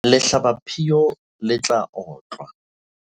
lehlabaphio le tla otlwa